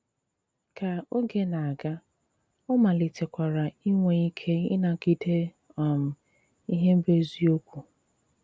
Ka ògè na-aga, ọ̀ malìtèkwara ìnwè ìkè ịnàgìdé um ihe bụ́ èzìokwu.